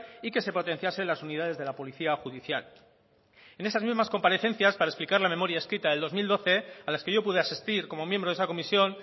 y que se potenciase las unidades de la policía judicial en esas mismas comparecencias para explicar la memoria escrita del dos mil doce a las que yo pude asistir como miembro de esa comisión